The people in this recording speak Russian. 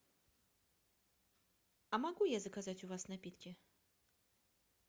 а могу я заказать у вас напитки